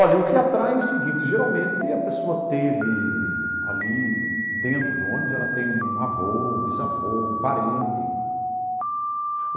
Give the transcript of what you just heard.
Olha, o que atrai é o seguinte, geralmente a pessoa teve ali dentro do ônibus, ela tem um avô, um bisavô, um parente.